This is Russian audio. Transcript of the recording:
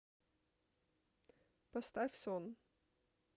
поставь сон